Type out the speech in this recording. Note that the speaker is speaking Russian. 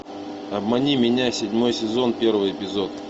обмани меня седьмой сезон первый эпизод